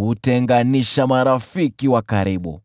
hutenganisha marafiki wa karibu.